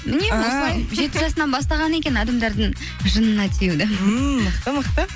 жеті жасынан бастаған екен адамдардың жынына тиюді ммм мықты мықты